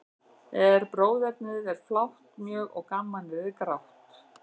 En bróðernið er flátt mjög, og gamanið er grátt.